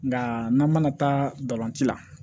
Nka n'an mana taa galancɛ la